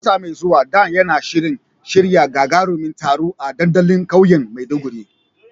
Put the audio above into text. Wata mai zuwa, Dan yana shirin shirya gagarumin taro a dandalin kauyen Maiduguri.